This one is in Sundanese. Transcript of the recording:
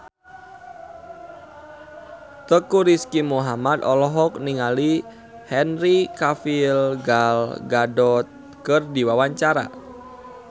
Teuku Rizky Muhammad olohok ningali Henry Cavill Gal Gadot keur diwawancara